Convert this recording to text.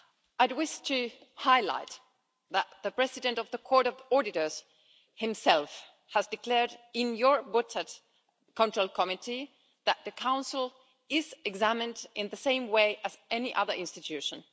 I wish to highlight that the President of the Court of Auditors himself has declared in your Budgetary Control Committee that the Council is examined in the same way as any other institution.